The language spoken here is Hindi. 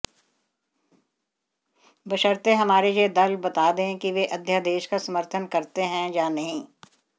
बशर्ते हमारे ये दल बता दें कि वे अध्यादेश का समर्थन करते हैं या नहीं